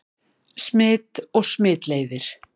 Smit og smitleiðir